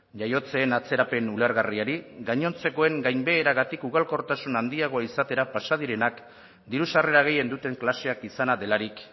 jaiotzen atzerapen ulergarriari gainontzekoen gainbeheragatik ugalkortasun handiagoa izatera pasa direnak diru sarrera gehien duten klaseak izana delarik